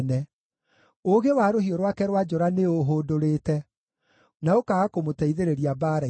Ũũgĩ wa rũhiũ rwake rwa njora nĩũũhũndũrĩte, na ũkaaga kũmũteithĩrĩria mbaara-inĩ.